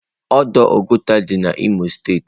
Ọdọ Oguta dị n'Imo steeti.